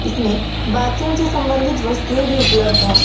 इसमें बाथरूम से संबंधित वस्तुएं भी उपलब्ध है।